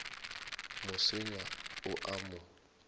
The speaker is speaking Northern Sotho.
mo senya o a mo